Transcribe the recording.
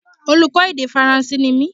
Oluko èdè faranse ni mí